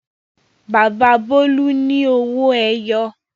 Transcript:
Bàbá Bólú ní Owó-ẹyọ.